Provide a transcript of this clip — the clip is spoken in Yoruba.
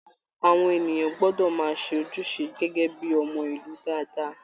Àwọn ènìyàn gbọdọ máa ṣe ojúṣe gẹgẹ bíi ọmọ ìlú dáadáa.